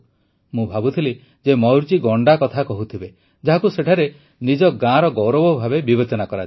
ମୁଁ ଭାବୁଥିଲି ଯେ ମୟୂରଜୀ ଗଣ୍ଡା କଥା କହୁଥିବେ ଯାହାକୁ ସେଠାରେ ନିଜ ଗାଁର ଗୌରବ ଭାବେ ବିବେଚନା କରାଯାଏ